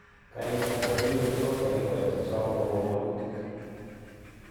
Karik choton koipe tos tagikoseiek sosom kogom wolutik